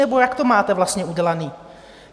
Nebo jak to máte vlastně udělané?